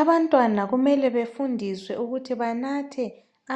Abantwana kumele befundiswe ukuthi benathe